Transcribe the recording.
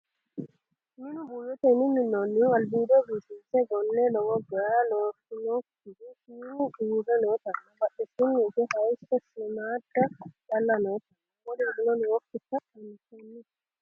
minu buuyyotenni minnoonnuhu albiido biifinse gonne lowo geya lonsoonnikihu shiimu uurre nootanna bahdesiinni higge hayeesso shiimmaadda calla nootanna wolurio nookkita anfanni